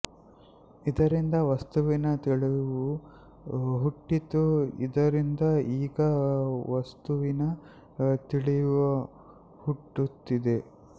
ಇದರಿಂದ ವಸ್ತುವಿನ ತಿಳಿವು ಹುಟ್ಟಿತು ಇದರಿಂದ ಈಗ ವಸ್ತುವಿನ ತಿಳಿವು ಹುಟ್ಟುತ್ತಿದೆ